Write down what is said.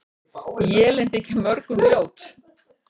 Élin þykja mörgum ljót.